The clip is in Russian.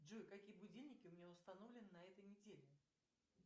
джой какие будильники у меня установлены на этой неделе